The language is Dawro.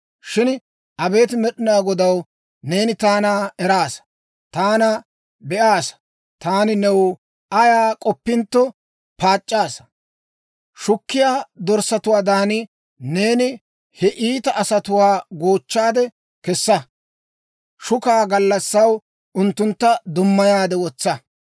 Shin abeet Med'inaa Godaw, neeni taana eraasa. Taana be'aasa; taani new ayaa k'oppintto paac'c'aasa. Shukkiyaa dorssatuwaadan, neeni he iita asatuwaa goochchaade kessa! Shukaa gallassaw unttuntta dummayaade wotsa!